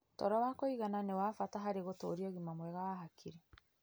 Toro wa kũigana nĩ wa bata harĩ gũtũũria ũgima mwega wa hakiri.